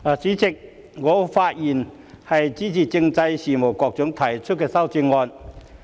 主席，我發言支持政制及內地事務局局長提出的修正案。